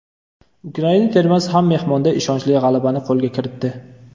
Ukraina termasi ham mehmonda ishonchli g‘alabani qo‘lga kiritdi.